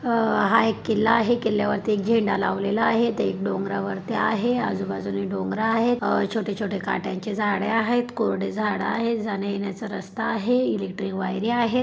अ हा एक किल्ला आहे किल्ल्या वरती एक झेंडा लावलेला आहे. ते डोंगरा वरती आहे आजूबाजूनी डोंगर आहेत अ छोटे छोटे काट्याचे झाडे आहेत कोरडी झाड आहेत जाण्ययेण्याचा रस्ता आहे इलेक्ट्रिक वायरी आहे.